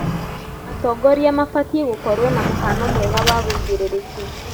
Atongoria mabatiĩ gũkorwo mũhano mwega wa wĩigĩrĩrĩki.